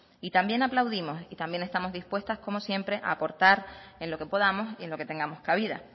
también aplaudimos y también estamos dispuestas como siempre a aportar en lo que podamos y en lo que tengamos cabida